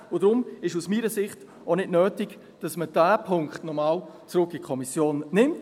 Deshalb ist es aus meiner Sicht auch nicht nötig, dass man diesen Punkt noch einmal zurück in die Kommission nimmt.